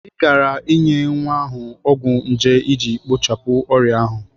Ị gaara enye nwa ahụ ọgwụ nje iji kpochapụ ọrịa ahụ.